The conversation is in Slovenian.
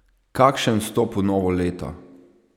Kakšen vstop v novo leto!